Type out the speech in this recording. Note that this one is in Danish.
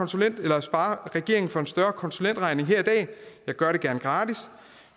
regeringen for en større konsulentregning her i dag jeg gør det gerne gratis